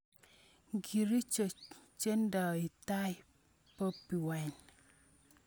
Ingircho chendei tai Bobi Wine?